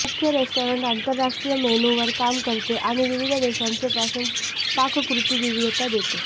मुख्य रेस्टॉरंट आंतरराष्ट्रीय मेनू वर काम करते आणि विविध देशांचे पासून पाककृती विविधता देते